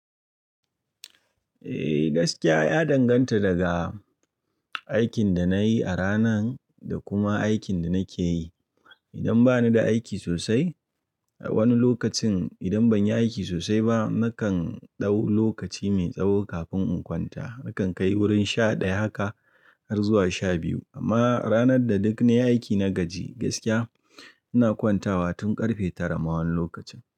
Eh gaskiya ya danganta daga aikin da na yi a ranan da kuma aikin da nake yi. Idan ba ni da aiki sosai a wani lokacin, idan ban yi aiki sosai ba, nakan dau lokaci mai tsawo kafin in kwanta. Nakan kai wurin sha ɗaya haka har zuwa sha biyu. Amma ranar da duk nayi aiki na gaji gaskiya, ina kwantawa tun ƙarfe tara ma wani lokacin.